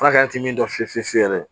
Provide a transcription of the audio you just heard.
Furakɛnin min dɔn fiye fiye fiye